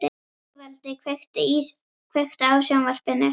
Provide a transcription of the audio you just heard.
Sigvaldi, kveiktu á sjónvarpinu.